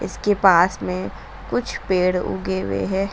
उसके पास में कुछ पेड़ उगे हुआ है।